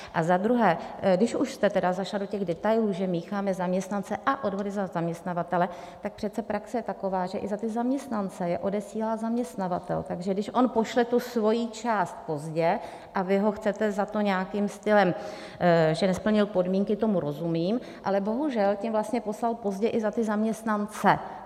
A za druhé, když už jste tedy zašla do těch detailů, že mícháme zaměstnance a odvody za zaměstnavatele, tak přece praxe je taková, že i za ty zaměstnance je odesílá zaměstnavatel, takže když on pošle tu svoji část pozdě a vy ho chcete za to nějakým stylem, že nesplnil podmínky, tomu rozumím, ale bohužel to vlastně poslal pozdě i za ty zaměstnance.